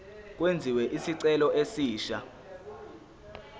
kwenziwe isicelo esisha